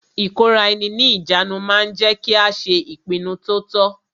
Ìkóraẹni ní ìjánu ma ń jẹ́ kí a ṣe ìpinnu to tọ́.